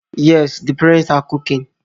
Yes, the parents are cooking